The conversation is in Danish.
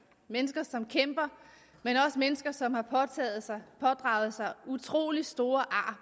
mennesker som kæmper men også mennesker som har pådraget sig utrolig store ar